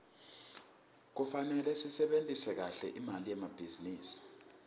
kufarele sisebentise kahle imali yelibhizinisi